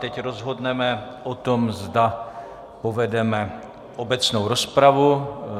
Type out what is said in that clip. Teď rozhodneme o tom, zda povedeme obecnou rozpravu.